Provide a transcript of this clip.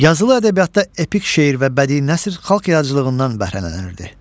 Yazılı ədəbiyyatda epik şeir və bədii nəsr xalq yaradıcılığından bəhrələnirdi.